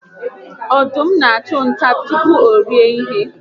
Ọdụm n'achụ nta tupu orie ihe